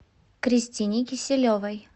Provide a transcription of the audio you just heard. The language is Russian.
кристине киселевой